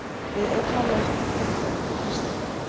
við einnar loftþyngdar þrýsting.